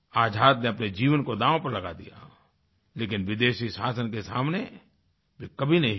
आज़ाद ने अपने जीवन को दाँव पर लगा दिया लेकिन विदेशी शासन के सामने वे कभी नहीं झुके